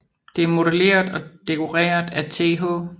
Det er modelleret og dekoreret af Th